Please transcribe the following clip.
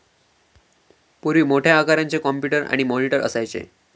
पूर्वी मोठ्या आकारांचे कॉम्प्युटर आणि मॉनिटर असायचे